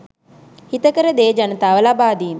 හිතකර දේ ජනතාව ලබාදීම